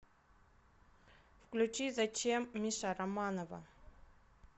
включи зачем миша романова